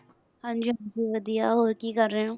ਹਾਂਜੀ ਹਾਂਜੀ ਵਧੀਆ, ਹੋਰ ਕੀ ਕਰ ਰਹੇ ਹੋ?